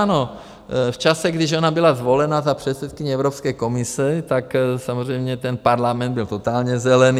Ano, v čase, když ona byla zvolena za předsedkyni Evropské komise, tak samozřejmě ten parlament byl totálně zelený.